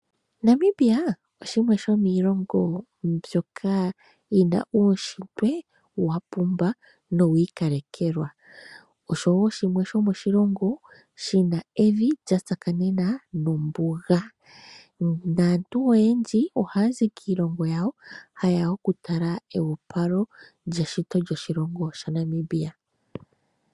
Namibia oshimwe shomilongo mbyoka yina uushitwe wapumba nowiikalekelwa ,osho wo shimwe shomiilongo shina evi lyatsakanena nombuga, naantu oyendji ohaya zi kiilongo yawo hayeya okutala ewopalo lyeshito lyoshilongo shaNamibia.